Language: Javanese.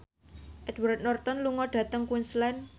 Edward Norton lunga dhateng Queensland